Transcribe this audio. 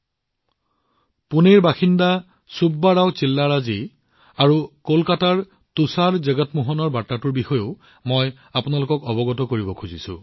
মই আপোনালোকৰ সন্মুখত পুনেৰ চুব্বা ৰাও চিল্লাৰাজী আৰু কলকাতাৰ তুষাৰ জগমোহনৰ বাৰ্তাটোও উল্লেখ কৰিম